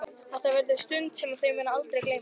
Þetta verður stund sem þau munu aldrei gleyma.